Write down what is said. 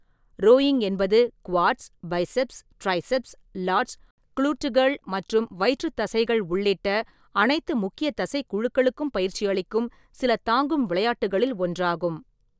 Rowing என்பது quads, biceps, triceps, lats, குளுட்டுகள் மற்றும் வயிற்று தசைகள் உள்ளிட்ட அனைத்து முக்கிய தசைக் குழுக்களுக்கும் பயிற்சியளிக்கும் சில தாங்கும் விளையாட்டுகளில் ஒன்றாகும்.